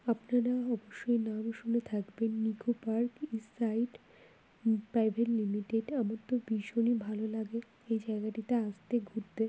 আপনারা অবশ্যই নাম শুনে থাকবেন eco park east side um private limited আমার তো ভীষণই ভালো লাগে এই জায়গাটিতে আসতে ঘুরতে ।